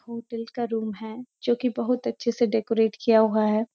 Hotel का room है जो कि बहुत अच्‍छे से डेकोरेट किया हुआ है।